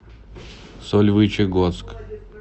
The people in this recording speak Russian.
сольвычегодск